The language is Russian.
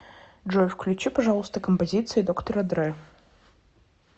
джой включи пожалуйста композиции доктора дре